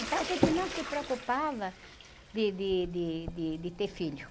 Então a gente não se preocupava de, de, de, de, de ter filho.